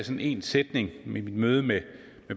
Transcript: en sætning i mit møde med